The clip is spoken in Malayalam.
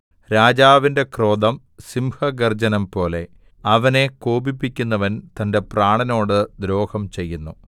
രാജാവിന്റെ ക്രോധം സിംഹഗർജ്ജനംപോലെ അവനെ കോപിപ്പിക്കുന്നവൻ തന്റെ പ്രാണനോട് ദ്രോഹം ചെയ്യുന്നു